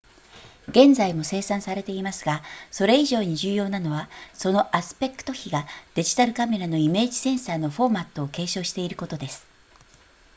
現在も生産されていますがそれ以上に重要なのはそのアスペクト比がデジタルカメラのイメージセンサーのフォーマットを継承していることです